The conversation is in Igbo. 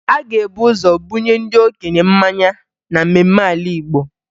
A ga-ebu ụzọ bunye ndị okenye mmanya na mmemme ala Igbo